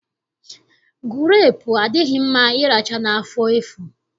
Gurepu adịghị mma ịracha n'afọ efu